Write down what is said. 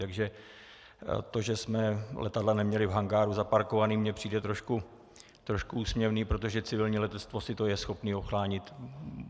Takže to, že jsme letadla neměla v hangáru zaparkovaná, mně přijde trošku úsměvné, protože civilní letectvo si to je schopno ochránit.